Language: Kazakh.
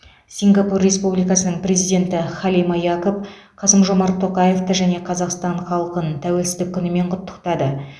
сингапур республикасының президенті халима якоб қасым жомарт тоқаевты және қазақстан халқын тәуелсіздік күнімен құттықтады